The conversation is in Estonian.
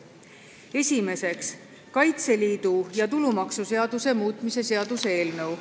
Esiteks, Kaitseliidu seaduse ja tulumaksuseaduse muutmise seaduse eelnõu.